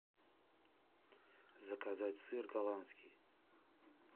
заказать сыр голландский